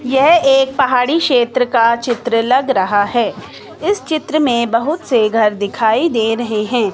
येह एक पहाड़ी शेत्र का चित्र लग रहा है इस चित्र में बहुत से घर दिखाई दे रहे हैं।